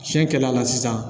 Tiɲɛ kɛr'a la sisan